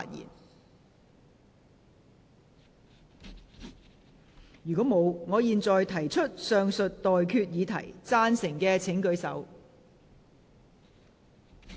我現在向各位提出上述待決議題，付諸表決。